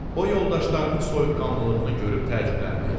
O yoldaşlarının soyuqqanlılığını görüb təəccübləndi.